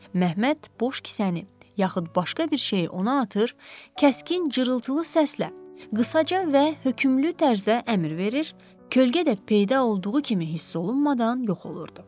Məhəmməd boş kisəni, yaxud başqa bir şeyi ona atır, kəskin cırıltılı səslə qısaca və hökümlü tərzdə əmr verir, kölgə də peyda olduğu kimi hiss olunmadan yox olurdu.